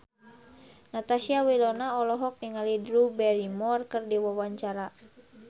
Natasha Wilona olohok ningali Drew Barrymore keur diwawancara